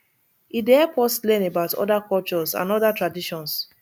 e dey help us learn about other cultures and other traditions